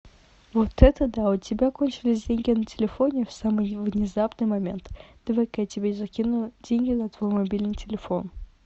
вот это да у тебя кончились деньги на телефоне в самый внезапный момент давай ка я тебе закину деньги на твой мобильный телефон